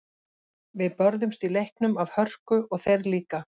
Við börðumst í leiknum af hörku og þeir líka.